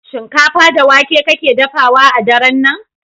Shinkafa da wake kake dafawa a daren nan?